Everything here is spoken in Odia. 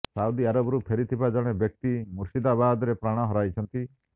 ସାଉଦି ଆରବରୁ ଫେରିଥିବା ଜଣେ ବ୍ୟକ୍ତି ମୁର୍ଶିଦାବାଦରେ ପ୍ରାଣ ହରାଇଛନ୍ତି